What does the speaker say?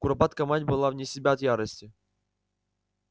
куропатка мать была вне себя от ярости